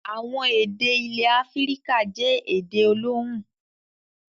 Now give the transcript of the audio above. Àwọn èdè ilẹ̀ Áfíríkà jẹ́ èdè olóhùn.